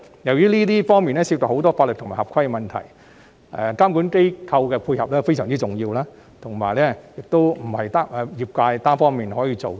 由於這方面涉及很多法律及合規的問題，監管機構的配合非常重要，並非業界單方面可以做到。